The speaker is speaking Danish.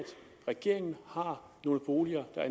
regeringen har nogle boliger der